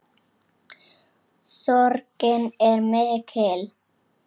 Sorgin er mikill.